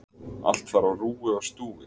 Allt þar á rúi og stúi.